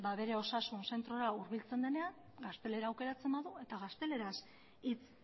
bere osasun zentrora hurbiltzen denean gaztelera aukeratzen badu eta gazteleraz hitz